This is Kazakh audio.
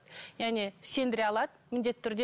яғни сендіре алады міндетті түрде